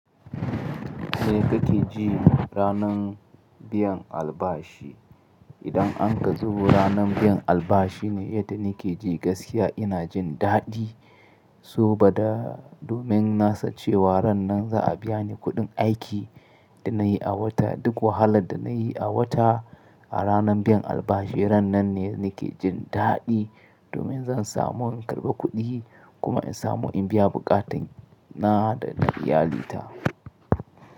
Me kake ji ranan biyan albashi? Idan anka zo ranan biyan albashi ne yadda ni ke ji gaskiya ina jin daɗi. So bada domin na sace wa ran nan za a biya ni kuɗin aiki da na yi a wata. Duk wahalar da na yi a wata a ranan biyan albashi ran nan ne nake jin daɗi domin zan samu in karɓa kuɗi kuma in samu in biya buƙatan na da na iyalina.